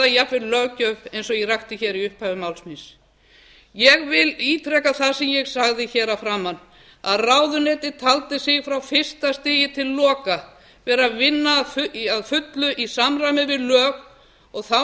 jafnvel löggjöf eins og ég rakti hér í upphafi máls míns ég ítreka það sem ég sagði hér að framan ráðuneytið taldi sig frá fyrsta stigi til loka vera að vinna að fullu í samræmi við lög og þá